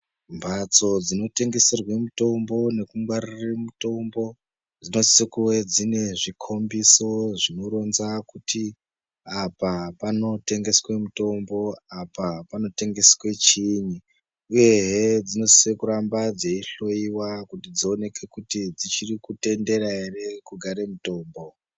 Mhatso dzinotengeserwe mutombo nekungwarire mutombo dzinosise kuve dzine zvhikhombiso zvinoronza kuti apa panotengeswe mitombo apa panotengeswe chiinyi uyehe dzinosise kugara dzichihloiwa kuti dzioneke kuti dzichirikutendera ere kugare mutombo.